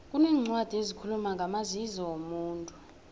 kuneencwadi ezikhuluma ngamazizo womuntu